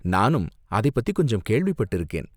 நானும் அதை பத்தி கொஞ்சம் கேள்விப்பட்டிருக்கேன்.